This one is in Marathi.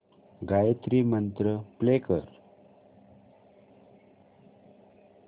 गायत्री मंत्र प्ले कर